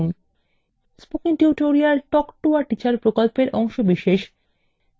spoken tutorial talk to a teacher প্রকল্পের অংশবিশেষ